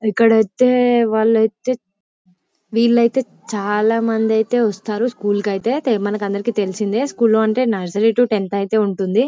ఇక్కడైతే వాళ్లైతే వీలైతే చాలామందైతే వస్తారు స్కూల్ కైతే తే- మనకందరికీ తెలిసిందే స్కూల్ లో అంటే నర్సరీ తో టెన్త్ ఐతే ఉంటుంది.